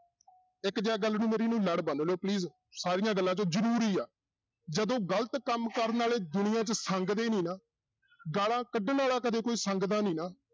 ਇੱਕ ਗੱਲ ਨੂੰ ਮੇਰੀ ਨੂੰ ਲੜ ਬੰਨ ਲਓ please ਸਾਰੀਆਂ ਗੱਲਾਂ ਚੋਂ ਜ਼ਰੂਰੀ ਆ, ਜਦੋਂ ਗ਼ਲਤ ਕੰਮ ਕਰਨ ਵਾਲੇ ਦੁਨੀਆਂ 'ਚ ਸੰਗਦੇ ਨੀ ਨਾ, ਗਾਲਾਂ ਕੱਢਣ ਵਾਲਾ ਕਦੇ ਕੋਈ ਸੰਗਦਾ ਨੀ ਨਾ